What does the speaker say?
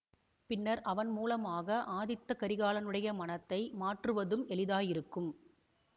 பின்னர் அவன் மூலமாக ஆதித்த கரிகாலனுடைய மனத்தை மாற்றுவதும் எளிதாயிருக்கும்